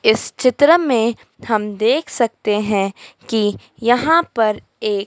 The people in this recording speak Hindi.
इस चित्र में थम देख सकते है की यहां पर ये--